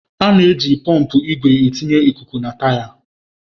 A na-eji pọmpụ igwe etinye ikuku na taya.